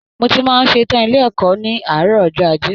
Mó tí màá n ṣetan ilé ẹ̀kọ́ ní àárọ̀ ọjọ́ ajé.